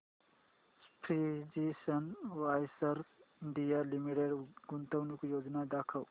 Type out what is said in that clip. precision wires India limited गुंतवणूक योजना दाखव